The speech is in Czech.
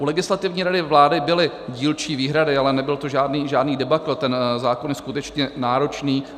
U Legislativní rady vlády byly dílčí výhrady, ale nebyl to žádný debakl, ten zákon je skutečně náročný.